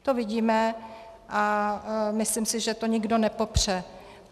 To vidíme a myslím si, že to nikdo nepopře.